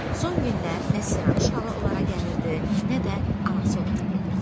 Son günlər nə Siranuşla o lara gəlirdi, nə də anası onlara gedirdi.